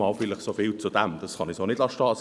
Dies zu dem, ich kann es so nicht stehen lassen.